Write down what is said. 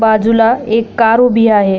बाजुला एक कार उभी आहे.